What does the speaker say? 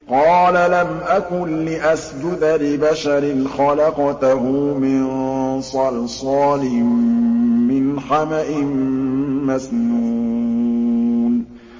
قَالَ لَمْ أَكُن لِّأَسْجُدَ لِبَشَرٍ خَلَقْتَهُ مِن صَلْصَالٍ مِّنْ حَمَإٍ مَّسْنُونٍ